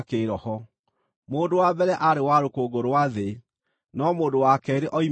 Mũndũ wa mbere aarĩ wa rũkũngũ rwa thĩ, no mũndũ wa keerĩ oimĩte igũrũ.